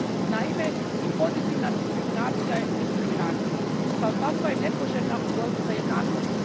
Naime, i pozitivna diskriminacija je diskriminacija i kao takva je nepoželjna u borbi za jednakost.